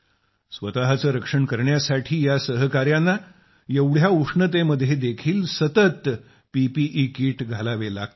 स्वतचे रक्षण करण्यासाठी या सहकाऱ्यांना एवढ्या उष्णतेमध्ये देखील सतत पीपीई किट घालावे लागते